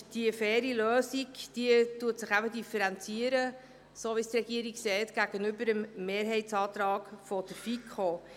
Diese faire Lösung differenziert sich in den Augen der Regierung eben gegenüber dem Mehrheitsantrag der FiKo.